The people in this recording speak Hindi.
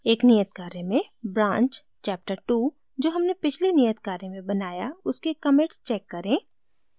एक नियत कार्य में branch chaptertwo जो हमने पिछले नियत कार्य में बनाया उसके commits check करें